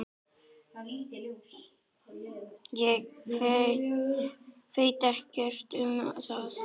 Ég veit ekkert um það.